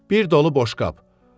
Bir dolu boşqab.